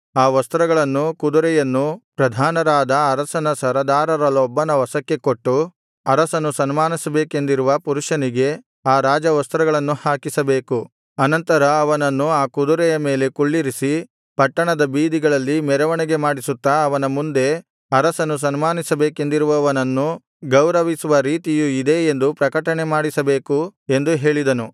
ಆ ವಸ್ತ್ರಗಳನ್ನೂ ಕುದುರೆಯನ್ನೂ ಪ್ರಧಾನರಾದ ಅರಸನ ಸರದಾರರಲ್ಲೊಬ್ಬನ ವಶಕ್ಕೆ ಕೊಟ್ಟು ಅರಸನು ಸನ್ಮಾನಿಸಬೇಕೆಂದಿರುವ ಪುರುಷನಿಗೆ ಆ ರಾಜವಸ್ತ್ರಗಳನ್ನು ಹಾಕಿಸಬೇಕು ಅನಂತರ ಅವನನ್ನು ಆ ಕುದುರೆಯ ಮೇಲೆ ಕುಳ್ಳಿರಿಸಿ ಪಟ್ಟಣದ ಬೀದಿಗಳಲ್ಲಿ ಮೆರವಣಿಗೆ ಮಾಡಿಸುತ್ತಾ ಅವನ ಮುಂದೆ ಅರಸನು ಸನ್ಮಾನಿಸಬೇಕೆಂದಿರುವವನನ್ನು ಗೌರವಿಸುವ ರೀತಿಯು ಇದೇ ಎಂದು ಪ್ರಕಟಣೆ ಮಾಡಿಸಬೇಕು ಎಂದು ಹೇಳಿದನು